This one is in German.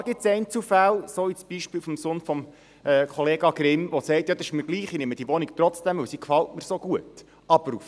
Klar gibt es Einzelfälle, wie beispielweise jenen des Sohnes von Grossrat Grimm, wo die Leute sagen, dass sie die Wohnung trotzdem nehmen, weil sie ihnen so gut gefällt.